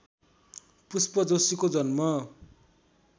पुष्प जोशीको जन्म